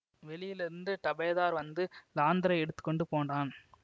வெளியிலிருந்து டபேதார் வந்து லாந்தரை எடுத்து கொண்டு போனான்